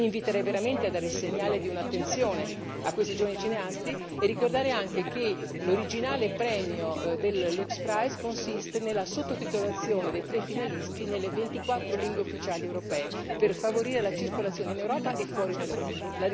Quindi inviterei veramente a dare il segnale di un'attenzione a questi giovani cineasti, oltre a ricordare anche che l'originale premio del Lux Prize consiste nella sottotitolazione dei tre finalisti nelle 24 lingue ufficiali europee per favorire la circolazione in Europa e fuori dall'Europa.